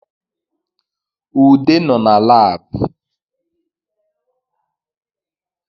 Ude nọ na Lab